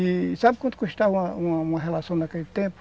E sabe quanto custava uma uma uma relação naquele tempo?